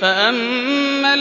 فَأَمَّا